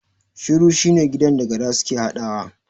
Shuri shine gidan da gara suke haɗawa